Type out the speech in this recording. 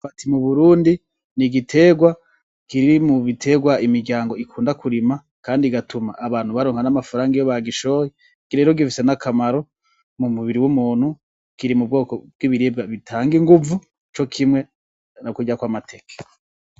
Imyumbati mu burundi n'igiterwa kiri mu biterwa imiryango ikunda kurima kandi igatuma abantu baronka amafaranga iyo bagishoye, iki rero gifise n'akamaro mu mubiri w'umuntu, kiri m'ubwoko bwibiribwa bitanga inguvu co kimwe no kurya kw'amateke.